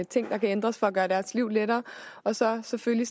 ting der kan ændres for at gøre deres liv lettere og så selvfølgelig